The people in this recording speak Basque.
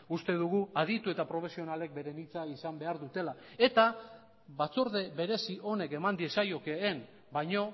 uste dugu aditu eta profesionalek beren hitza izan behar dutela eta batzorde berezi honek eman diezaiokeen baino